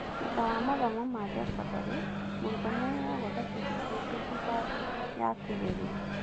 Thutha wa mathomo ma thekondarĩ mũrutwo nĩ aheyaguo thatĩbĩkĩti thutha ya kĩgeranio.